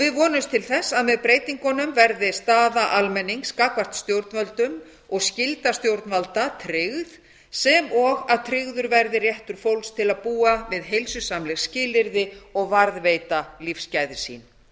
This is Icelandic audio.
við vonumst til þess að með breytingunum verði staða almennings gagnvart stjórnvöldum og skylda stjórnvalda tryggð sem og að tryggður verði réttur fólks til að búa við heilsusamleg skilyrði og varðveita lífsgæði sín